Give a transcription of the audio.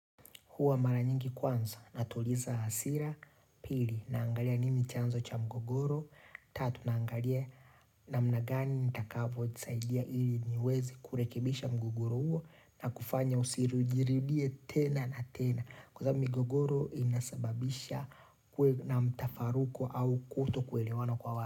Huwa mara nyingi kwanza, natuliza hasira, pili, naangalia nimi chanzo cha mgogoro, tatu naangalia na namna gani nitakavyo jisaidia ili niwezi kurekebisha mgogoro huo na kufanya usijiridhie tena na tena. Kwa sababu migogoro inasababisha kuwe na mtafaruko au kutokuelewana kwa watu.